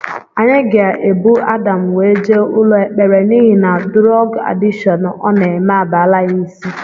Anyị ga-ebu Adam wee jee ụlọ ekpere n'ihi na durog adịshon ọ na-eme abalaa ya isi